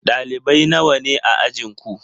Ɗalibai nawa ne a ajinku?